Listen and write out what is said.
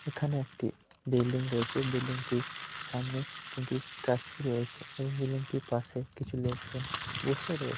এখানে একটি বিল্ডিং রয়েছে বিল্ডিং -টির সামনে তিনটি স্ট্যাচু রয়েছে এবং বিল্ডিং -টির পাশে কিছু লোকজন বসে রয়ে-- ।